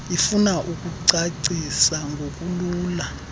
ifuna ukucacisa ngokulula